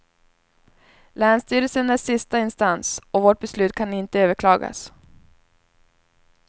Länsstyrelsen är sista instans och vårt beslut kan inte överklagas.